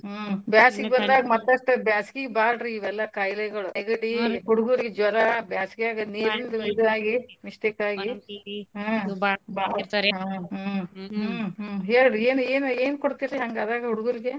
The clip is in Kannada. ಹ್ಮ್ ಬ್ಯಾಸ್ಗಿ ಬಂದಾಗ್ ಮತ್ತಸ್ಟ ಬ್ಯಾಸ್ಗಿಗ್ ಬಾಳ್ರೀ ಇವೆಲ್ಲಾ ಕಾಯ್ಲೇಗಳು ಹುಡ್ಗೂರ್ಗ ಜ್ವರಾ ಬ್ಯಾಸ್ಗ್ಯಾಗ್ ನೀರ್ ಇದು ಆಗಿ mistake ಆಗಿ ಹ್ಞೂ ಹ್ಞೂ ಹ್ಞೂ ಹೇಳ್ರೀ ಏನ್ ಏನ್ ಏನ್ ಕೊಡ್ತಿರೀ ಹಂಗಾದಾಗ ಹುಡ್ಗೂರ್ಗೆ? ..